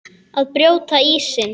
Að brjóta ísinn